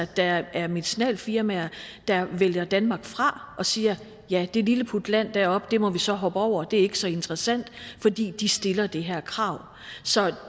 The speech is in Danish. der er medicinalfirmaer der vælger danmark fra og siger ja det lilleputland deroppe må vi så hoppe over det er ikke så interessant fordi de stiller det her krav